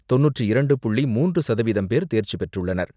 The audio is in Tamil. தொண்ணூற்று இரண்டு புள்ளி மூன்று சதவீதம் பேர் தேர்ச்சி பெற்றுளளனர்.